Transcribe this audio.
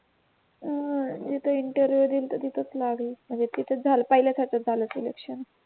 हम्म जिथं इन्टरव्ह्यू दिलता तिथेच लागेल म्हणजे तिथंच झालं पहिल्याच ह्याच्यात झालं सिलेक्शन